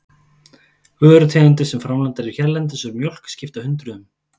Vörutegundir sem framleiddar eru hérlendis úr mjólk skipta hundruðum.